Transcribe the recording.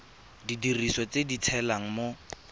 didiriswa tse di tshelang mo